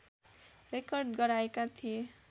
Record गराएका थिए।